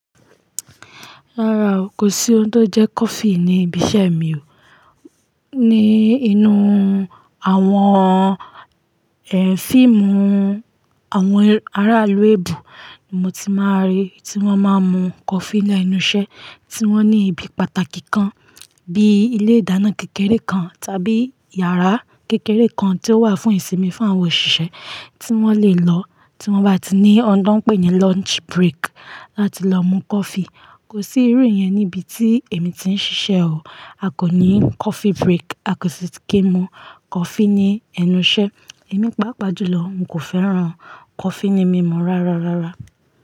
Rárá o, kò sí ohun tó jẹ́ coffee ní ibi iṣẹ́ mi o. Ní inú àwọn, eh, fíìmù àwọn ará ilu ẹ̀ebo ni mo ti máa ń rí tí wọ́n máa ń mu coffee lenú isẹ́, tí wọ́n ní ibi pàtàkì kan bíi ilé ìdáná kékeré kan tàbí yàrá kékeré kan tí ó wà fún ìsinmi fún àwọn òṣìṣẹ́ tí wọ́n lè lọ tí wọ́n bá ti ní ohun tó ń pè ní lunch break láti lọ mu coffee. Kò sí irú yẹn ní ibi tí èmi ti ń ṣiṣẹ́ o. A kò ní coffee break, a kò sì ti kí mu coffee ní ẹnu iṣẹ́. Èmi pàápàá jùlọ, n kò fẹ́ràn coffee ní mímu rárá, rárá.